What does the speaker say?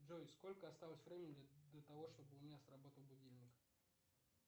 джой сколько осталось времени до того чтобы у меня сработал будильник